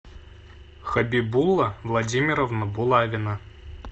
хабибула владимировна булавина